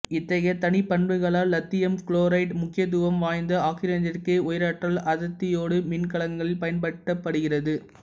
இத்தைகைய தனிப்பண்புகளால் இலித்தியம் குளோரேட்டு முக்கியத்துவம் வாய்ந்த ஆக்சிசனேற்றியாக உயராற்றல் அடர்த்தியோட்ட மின்கலன்களில் பயன்படுத்தப்படுகிறது